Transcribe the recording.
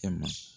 Kɛ ma